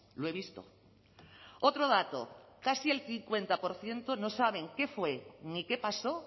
lo he visto otro dato casi el cincuenta por ciento no saben qué fue ni qué pasó